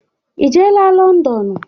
Ị jeela Lọndọnụ?